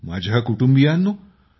माझ्या कुटुंबियांनो